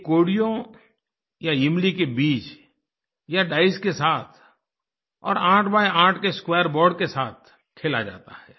ये कोड़ियों या इमली के बीज या डाइस के साथ और 8×8 के स्क्वेयर बोर्ड के साथ खेला जाता है